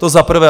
To za prvé.